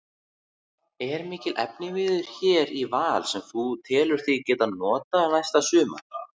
Er mikill efniviður hér í Val sem þú telur þig geta notað næsta sumar?